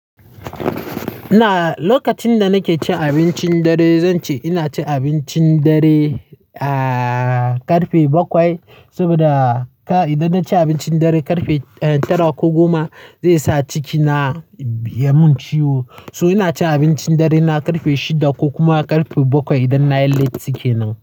Ina, lokacin da nake cin abincin dare, zan ce ina cin abincin dare, ah, ƙarfe bakwai. Saboda ka, idan na ci abincin dare ƙarfe, eh, tara ko goma zai sa cikina ya mun ciwo. So ina cin abincin dare na ƙarfe shida ko kuma ƙarfe bakwai idan na yi latti ke nan.